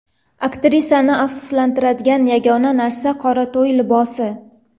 Aktrisaning afsuslanadigan yagona narsasi – qora to‘y libosi.